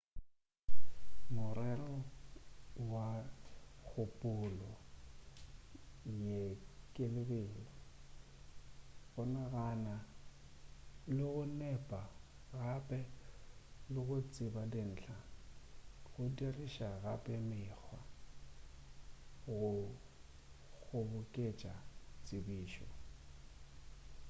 morero wa kgopolo ye ke lebelo go ganana le go nepa gape le go tseba dintlha go diriša gape mekgwa go kgoboketša tsebišo